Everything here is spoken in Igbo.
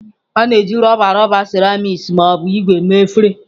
A na-eji rọba, rọba, seramiiki ma ọ bụ ígwè mee efere.